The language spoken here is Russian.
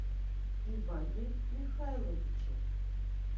иване михайловиче